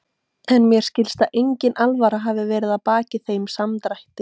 En mér skilst að engin alvara hafi verið að baki þeim samdrætti.